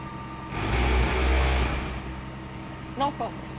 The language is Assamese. no comments